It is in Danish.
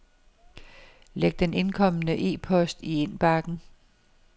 Læg den indkomne e-post i indbakken.